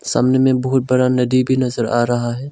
सामने में बहुत बड़ा नदी भी नजर आ रहा है।